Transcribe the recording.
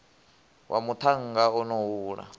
wa muṱhannga o no hula